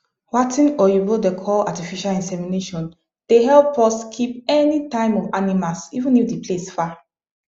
watin oyibo da call artificial insemination the help us keep any time of animas even if the place far